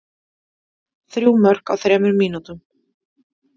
Þrjú mörk á þremur mínútum.